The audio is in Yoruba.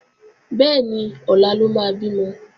Bẹ́ẹ̀ni, ọ̀la ló máa bímọ